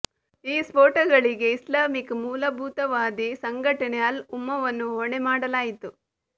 ಈ ಸ್ಫೋಟಗಳಿಗೆ ಇಸ್ಲಾಮಿಕ್ ಮೂಲಭೂತವಾದಿ ಸಂಘಟನೆ ಅಲ್ ಉಮ್ಮವನ್ನು ಹೊಣೆ ಮಾಡಲಾಯಿತು